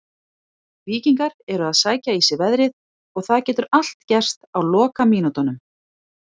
Víkingar eru að sækja í sig veðrið og það getur allt gerst á lokamínútunum.